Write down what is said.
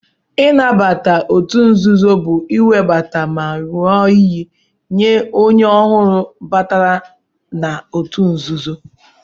Nnabata otu nzuzo bu iwebata ma nyụọ iyi nye onye ọhụrụ batara nna otu nzuzo.